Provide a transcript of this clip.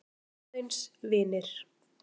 Aðeins vinir.